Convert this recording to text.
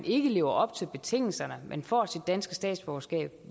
ikke lever op til betingelserne men får sit danske statsborgerskab